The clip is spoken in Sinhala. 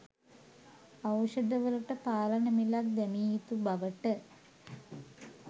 ඖෂධවලට පාලන මිලක් දැමිය යුතු බවට